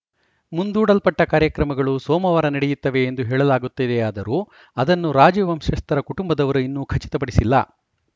ಮುಂದೂಡಲ್ಪಟ್ಟಕಾರ್ಯಕ್ರಮಗಳು ಸೋಮವಾರ ನಡೆಯುತ್ತವೆ ಎಂದು ಹೇಳಲಾಗುತ್ತಿದೆಯಾದರೂ ಅದನ್ನು ರಾಜವಂಶಸ್ಥರ ಕುಟುಂಬದವರು ಇನ್ನೂ ಖಚಿತಪಡಿಸಿಲ್ಲ